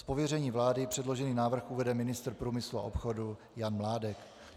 Z pověření vlády předložený návrh uvede ministr průmyslu a obchodu Jan Mládek.